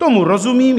Tomu rozumím.